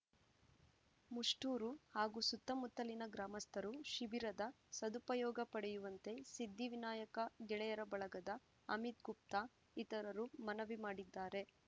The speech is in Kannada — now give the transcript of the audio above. ಮುಷ್ಟೂರು ಹಾಗೂ ಸುತ್ತಮುತ್ತಲಿನ ಗ್ರಾಮಸ್ಥರು ಶಿಬಿರದ ಸದುಪಯೋಗ ಪಡೆಯುವಂತೆ ಸಿದ್ಧಿ ವಿನಾಯಕ ಗೆಳೆಯರ ಬಳಗದ ಅಮಿತ್‌ ಗುಪ್ತಾ ಇತರರು ಮನವಿ ಮಾಡಿದ್ದಾರೆ